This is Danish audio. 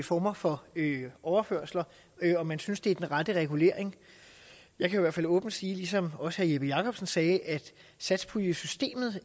former for overførsler om man synes det er den rette regulering jeg kan i hvert fald åbent sige ligesom også herre jeppe jakobsen sagde at satspuljesystemet